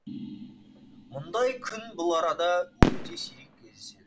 мұндай күн бұл арада өте сирек кездеседі